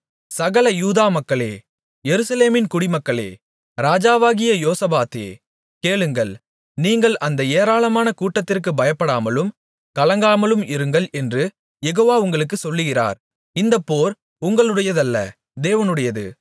சகல யூதா மக்களே எருசலேமின் குடிமக்களே ராஜாவாகிய யோசபாத்தே கேளுங்கள் நீங்கள் அந்த ஏராளமான கூட்டத்திற்கு பயப்படாமலும் கலங்காமலும் இருங்கள் என்று யெகோவா உங்களுக்குச் சொல்லுகிறார் இந்தப் போர் உங்களுடையதல்ல தேவனுடையது